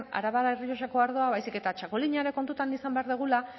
arabar errioxako ardoa baizik eta txakolina ere kontutan izan behar dugula